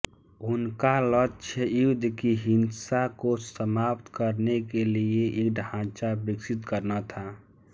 उनका लक्ष्य युद्ध की हिंसा को समाप्त करने के लिए एक ढांचा विकसित करना था